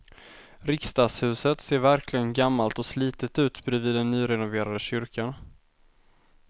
Riksdagshuset ser verkligen gammalt och slitet ut bredvid den nyrenoverade kyrkan.